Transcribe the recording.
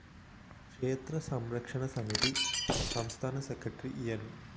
ക്ഷേത്രസംരക്ഷണസമിതി സംസ്ഥാന സെക്രട്ടറി ന്‌